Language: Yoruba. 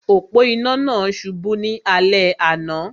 Òpó-inà náà subú ní alé àná